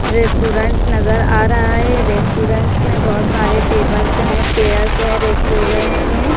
restaurant नजर आ रहा है रेस्टोरेंट में बहुत सारे टेबल्स हैं चेयर्स है रेस्टोरेंट्स में --